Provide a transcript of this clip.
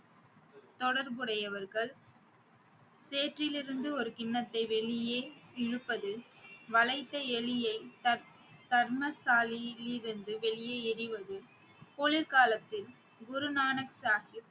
தொடர்புடையவர்கள் சேற்றிலிருந்து ஒரு கிண்ணத்தை வெளியே இழுப்பது வளைக்க எலியை தர்~ வெளியே எறிவது குளிர்காலத்தில் குருநானக் சாகிப்